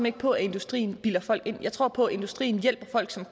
ikke på at industrien bilder folk ind jeg tror på at industrien hjælper folk som